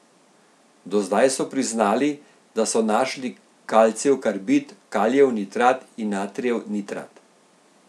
Do zdaj so priznali, da so našli kalcijev karbid, kalijev nitrat in natrijev nitrat.